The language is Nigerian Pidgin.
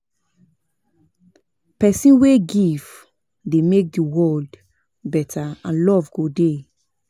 Pesin wey give dey mek di world beta and luv go dey.